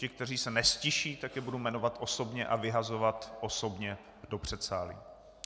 Ty, kteří se neztiší, tak je budu jmenovat osobně a vyhazovat osobně do předsálí.